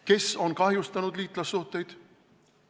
Kes on kahjustanud liitlassuhteid?